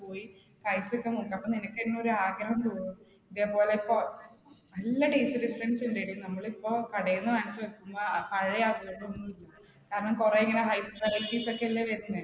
കഴിച്ചിട്ടും ഉണ്ട് അപ്പോ നിനക്ക് ഇന്ന് ഒരാഗ്രഹം തോന്നും, ഇതേപോലെ നല്ല taste ഉം നമ്മളിപ്പോ കടേന്ന് വാങ്ങിച്ച് വെക്കുമ്പ അ പഴയെ കാരണം കുറെ ഇങ്ങന wide varieties ഒക്കെ അല്ലേ വരുന്നേ.